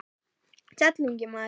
Sæll, ungi maður